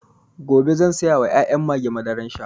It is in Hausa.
Gobe zan sayawa ƴaƴan mage madaran sha